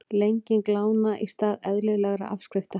Lenging lána í stað eðlilegra afskrifta